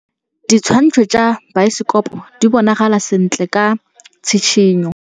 Ditshwantshô tsa biosekopo di bonagala sentle ka tshitshinyô.